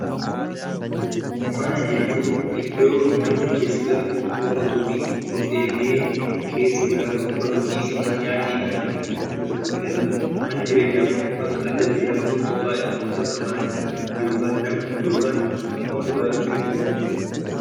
Mana jechuun iddoo namni keessa galu, boqotuu fi of eegee keessa jiraatu bakka ciisichi, nyaatii fi tasgabbiin argamudha. Manni jireenyaa ammoo bakka addatti jiraachuuf qophaa'e, bakka maatii yookaan namni yookaan namoonni baay'een keessa jiraatanidha.